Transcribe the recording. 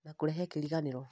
na kũrehe kĩriganĩro